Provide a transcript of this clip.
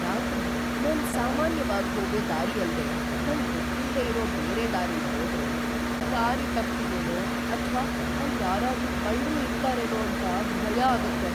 ರಾತ್ರಿ ‌ನಾನ್‌ ಸಾಮಾನ್ಯವಾಗ್‌ ಹೋಗೋ ದಾರಿ ಅಲ್ದೇ ನಂಗ್ ಗೊತ್ತಿಲ್ದೇ ಇರೋ ಬೇರೆ ದಾರಿಲ್ ಹೋದ್ರೆ ದಾರಿ ತಪ್ತಿನೇನೋ ಅಥ್ವಾ ಅಲ್ಲ್ ಯಾರಾದ್ರೂ ಕಳ್ರು ಇರ್ತಾರೇನೋ ಅಂತ ಭಯ ಆಗತ್ತೆ.